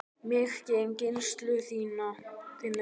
Mig geym í gæslu þinni.